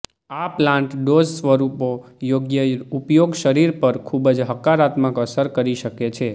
આ plant dose સ્વરૂપો યોગ્ય ઉપયોગ શરીર પર ખૂબ જ હકારાત્મક અસર કરી શકે છે